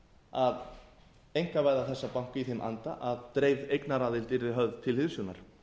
að einkavæða þessa banka í þeim anda að dreifð eignaraðild yrði höfð til hliðsjónar